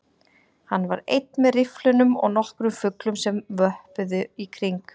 Hann var einn með rifflinum og nokkrum fuglum sem vöppuðu í kring